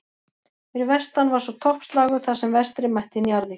Fyrir vestan var svo toppslagur þar sem Vestri mætti Njarðvík.